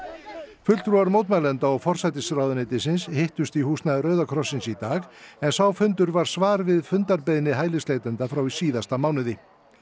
fulltrúar mótmælenda og forsætisráðuneytisins hittust í húsnæði Rauða krossins í dag en sá fundur var svar við fundarbeiðni hælisleitenda frá í síðasta mánuði